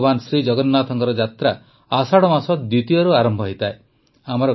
ଭଗବାନ ଜଗନ୍ନାଥଙ୍କ ଯାତ୍ରା ଆଷାଢ଼ ମାସ ଦ୍ୱିତୀୟାରୁ ଆରମ୍ଭ ହୁଏ